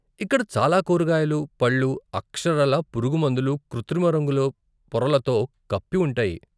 ఇక్కడ చాలా కూరగాయలు, పళ్ళు అక్షరాలా పురుగుమందులు, కృత్రిమ రంగుల పొరలతో కప్పి ఉంటాయి.